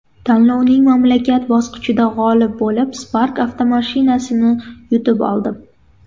Tanlovning mamlakat bosqichida g‘olib bo‘lib, Spark avtomashinasini yutib oldim.